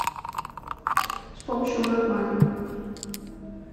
с помощью веб мани